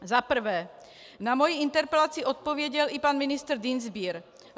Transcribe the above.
Za prvé, na moji interpelaci odpověděl i pan ministr Dienstbier.